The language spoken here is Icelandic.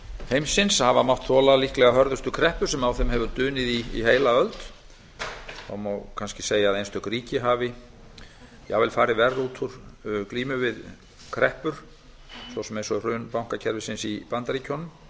heimsins hafa mátt þola líklega hörðustu kreppu sem á þeim hefur dunið í heila öld þó má kannski segja að einstök ríki hafi jafnvel farið verr út úr glímu við kreppur svo sem hrun bankakerfis bandaríkjanna